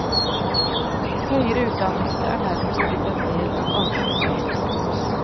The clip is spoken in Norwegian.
Høyere utdannelse er nærmest blitt en del av almenutdannelsen.